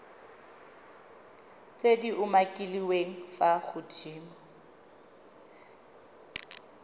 tse di umakiliweng fa godimo